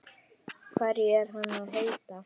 Hverju er hann að heita?